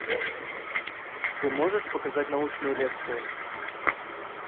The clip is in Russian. ты можешь показать научную лекцию